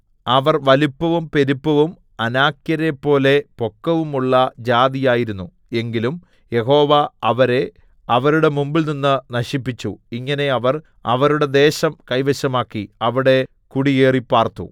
അവർ വലിപ്പവും പെരുപ്പവും അനാക്യരെപ്പോലെ പൊക്കവുമുള്ള ജാതിയായിരുന്നു എങ്കിലും യഹോവ അവരെ അവരുടെ മുമ്പിൽനിന്ന് നശിപ്പിച്ചു ഇങ്ങനെ അവർ അവരുടെ ദേശം കൈവശമാക്കി അവിടെ കുടിയേറിപ്പാർത്തു